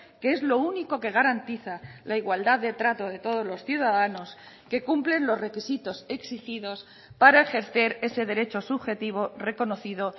que es lo único que garantiza la igualdad de trato de todos los ciudadanos que cumplen los requisitos exigidos para ejercer ese derecho subjetivo reconocido